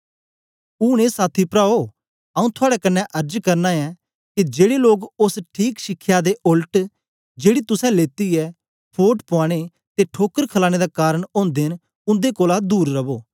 ऊन ए साथी प्राओ आऊँ थुआड़े कन्ने अर्ज करना ऐं के जेड़े लोक ओस ठीक शिखया दे ओलट जेड़ी तुसें लेती ऐ फोट पुआने ते ठोकर खलाने दा कारन ओदे न उन्दे कोलां दूर रवो